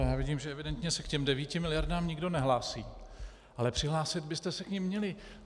Já vidím, že evidentně se k těm devíti miliardám nikdo nehlásí, ale přihlásit byste se k nim měli.